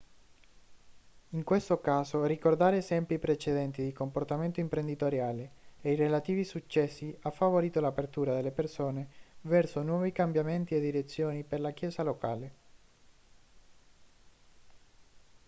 in questo caso ricordare esempi precedenti di comportamento imprenditoriale e i relativi successi ha favorito l'apertura delle persone verso nuovi cambiamenti e direzioni per la chiesa locale